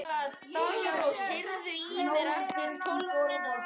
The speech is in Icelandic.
Daggrós, heyrðu í mér eftir tólf mínútur.